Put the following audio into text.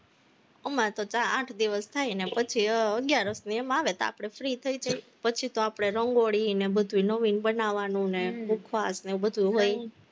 અમારે તો આઠ દિવસ થાય, ન્યા પછી અગિયારસ ને એમ આવે ત્યાં આપણે free થઇ જાય, પછી તો આપણે રંગોળી ને બધું નવીન બનાવવાનું ને ઉપવાસ ને બધું હોય